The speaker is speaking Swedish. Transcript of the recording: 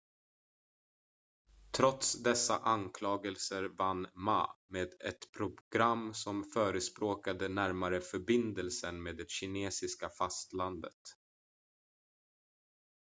trots dessa anklagelser vann ma med ett program som förespråkade närmare förbindelser med det kinesiska fastlandet